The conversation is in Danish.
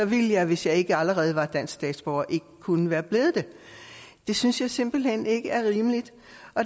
ville jeg hvis jeg ikke allerede var dansk statsborger ikke kunne være blevet det det synes jeg simpelt hen ikke er rimeligt